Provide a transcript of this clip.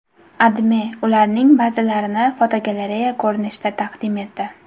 AdMe ularning ba’zilarini fotogalereya ko‘rinishida taqdim etdi .